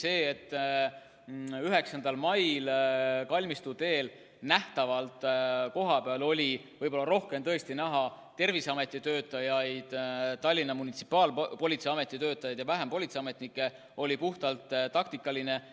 See, et 9. mail oli Kalmistu teel nähtavalt kohapeal tõesti rohkem Terviseameti töötajaid ja Tallinna Munitsipaalpolitsei Ameti töötajaid ning vähem politseiametnike, oli puhtalt taktikaline otsus.